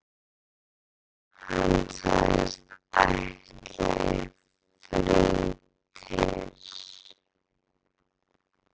Hann sagðist ætla í frí til